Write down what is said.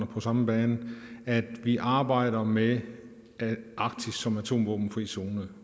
på samme bane at vi arbejder med arktis som atomvåbenfri zone